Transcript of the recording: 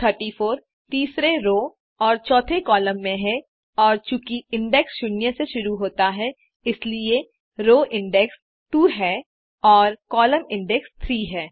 34 तीसरे रो और चौथे कॉलम में है और चूँकि इंडेक्सिंग शून्य से शुरू होती है इसलिए रो इंडेक्स 2 है और कॉलम इंडेक्स 3 है